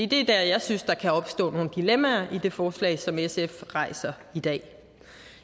det er der jeg synes der kan opstå nogle dilemmaer i det forslag som sf rejser i dag